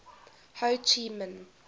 ho chi minh